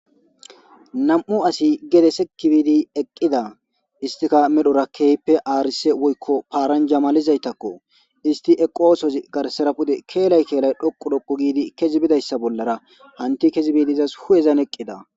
Nam'u asi gedese kibidi eqqida istika medhorakkeehppe aarise woykko paaran jamalizaytakko isti eqosozi garsera pude keelay keelay dhoqu dhoqu giidi kezi bidayssa bollara hanti kezi biidizas hu'ezan eqqida.